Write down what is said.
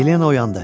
Yelena oyandı.